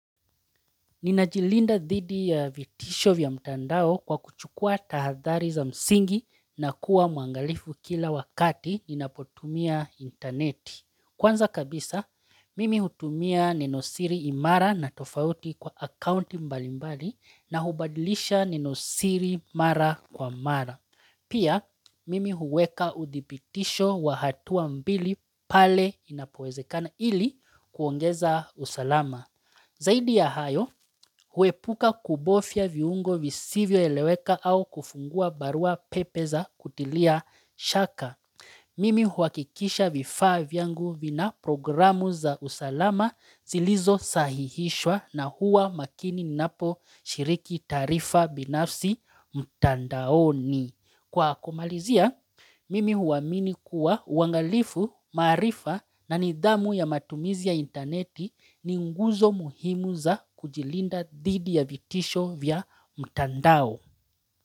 Ninajilinda dhidi ya vitisho vya mtandao kwa kuchukua tahadhari za msingi na kuwa mwangalifu kila wakati inapotumia interneti. Kwanza kabisa, mimi hutumia neno siri imara na tofauti kwa akaunti mbali mbali na hubadilisha neno siri mara kwa mara. Pia, mimi huweka uthibitisho wa hatuwa mbili pale inapowezekana ili kuongeza usalama. Zaidi ya hayo, huepuka kubofya viungo visivyoeleweka au kufungua barua pepe za kutilia shaka. Mimi huakikisha vifaa vyangu vina programu za usalama zilizo sahihishwa na huwa makini napo shiriki tarifa binafsi mtandaoni. Kwa kumalizia, mimi huwamini kuwa uangalifu, maarifa na nidhamu ya matumizi ya interneti ni nguzo muhimu za kujilinda dhidi ya vitisho vya mtandao.